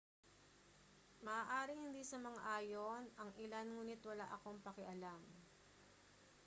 maaaring hindi sumang-ayon ang ilan ngunit wala akong pakialam